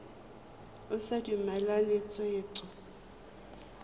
o sa dumalane le tshwetso